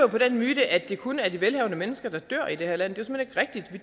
på den myte at det kun er de velhavende mennesker der dør i det her land